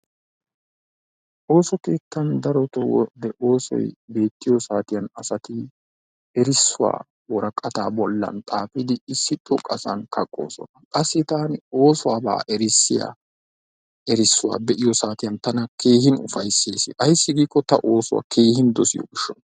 Ooso keettan daro wode oosoyi beettiyo saatiyan asati erissuwaa woraqataa bollan xaafidi issi xoqqasan kaqqoosona qassi taani oosuwabaa erissiyaa erissuwaa be"iyo saatiyan tana keehin ufayissesi ayissi giikko ta oosuwa keehin dosiyo gishshawu.